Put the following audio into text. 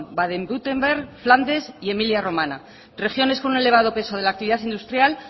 baden württemberg flandes y emilia romagna regiones con un elevado peso de la actividad industrial